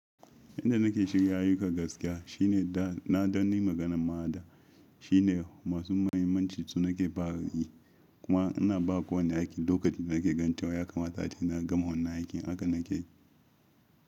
Inda nake shirya ayyuka gaskiya shine da na don yi maganar ma a da shine masu muhimmancin su nake fara yi. Kuma ina ba kowane aiki lokacin da nake ganin cewa ya kamata a ce na gama wannan aikin haka nake.